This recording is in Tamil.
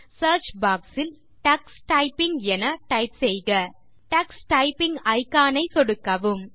சியர்ச் பாக்ஸ் இல் டக்ஸ் டைப்பிங் என டைப் செய்க டக்ஸ் டைப்பிங் இக்கான் ஐ சொடுக்கவும்